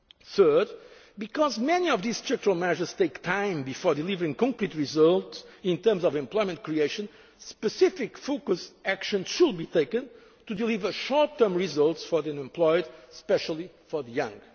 for competitiveness. Third, because many of these structural measures take time before delivering concrete results in terms of employment creation, specific focused action should be taken to deliver short term results for the unemployed, and especially